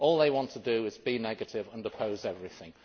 All they want to do is be negative and oppose everything.